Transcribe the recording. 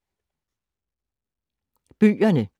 Bøgerne